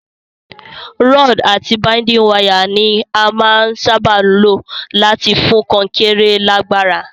Rod àti binding wire ni a màa n sábà lo láti fún kankéré lágbára